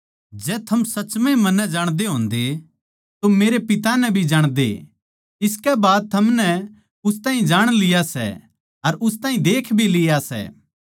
जै थम सच म्ह ए मन्नै जाणदे होंदे तो मेरै पिता नै भी जाणदे इसकै बाद थमनै उस ताहीं जाण लिया सै अर उस ताहीं देख भी लिया सै